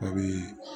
A bɛ